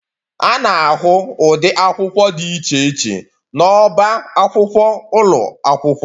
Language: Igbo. A na-ahụ ụdị akwụkwọ dị iche iche n'ọba akwụkwọ ụlọ akwụkwọ